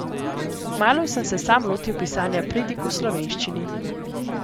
Kmalu sem se sam lotil pisanja pridig v slovenščini.